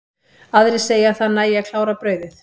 Aðrir segja að það nægi að klára brauðið.